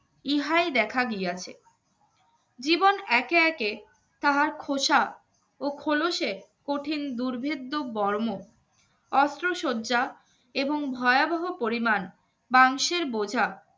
ইহাই দেখা গেছে, একে একে তাহার খোসা ও খোলসে কঠিন দুর্ভিদ বর্ম অস্ত্রশয্যা এবং ভয়াবহ পরিমাণ মাংসের